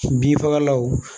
Bin fagalaw